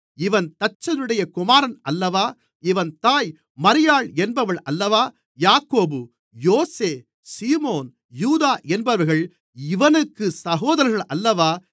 இவன் தச்சனுடைய குமாரன் அல்லவா இவன் தாய் மரியாள் என்பவள் அல்லவா யாக்கோபு யோசே சீமோன் யூதா என்பவர்கள் இவனுக்குச் சகோதரர்கள் அல்லவா